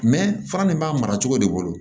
fara nin b'a mara cogo de bolo